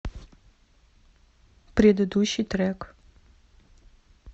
предыдущий трек